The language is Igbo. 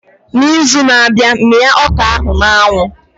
N'izu na-abịa mia ọka ahu na anwu